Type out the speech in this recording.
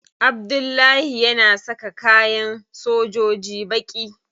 Abdullahi yana saka kayan sojoji baƙi.